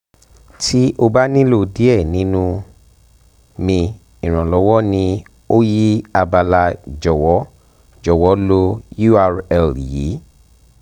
ti o ba nilo diẹ ninu mi iranlọwọ ni yi abala jọwọ jọwọ lo url yi